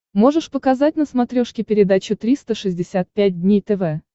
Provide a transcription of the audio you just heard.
можешь показать на смотрешке передачу триста шестьдесят пять дней тв